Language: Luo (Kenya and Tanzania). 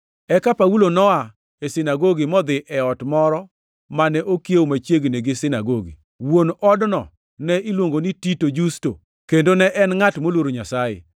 Eka Paulo noa e sinagogi modhi e ot moro mane okiewo machiegni gi sinagogi. Wuon odno ne iluongo ni Titio Justo, kendo ne en ngʼat moluoro Nyasaye.